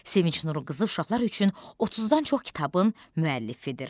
Sevinc Nurqızı uşaqlar üçün 30-dan çox kitabın müəllifidir.